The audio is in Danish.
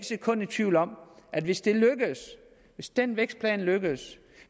sekund i tvivl om at hvis det lykkes hvis den vækstplan lykkes